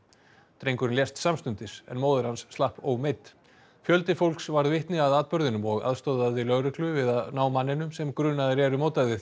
drengurinn lést samstundis en móðir hans slapp fjöldi fólks varð vitni að atburðinum og aðstoðaði lögreglu við að ná manninum sem grunaður er um ódæðið